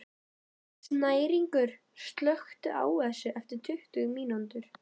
Snæringur, slökktu á þessu eftir tuttugu mínútur.